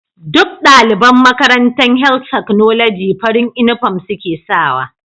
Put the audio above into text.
Duk daliban Makarantan health technology farin inufom suke sawa